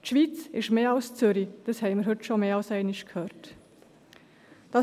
Die Schweiz ist mehr als Zürich, wie wir heute schon mehrmals gehört haben.